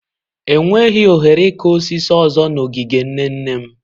Enweghị ohere ịkụ osisi ọzọ n'ogige nne nne m.